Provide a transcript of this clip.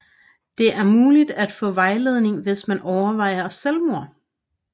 Det er mulig at få vejledning hvis man overvejer selvmord